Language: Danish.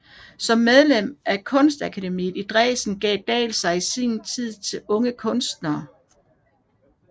Som medlem af Kunstakademiet i Dresden gav Dahl sig tid til unge kunstnere